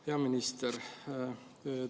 Hea minister!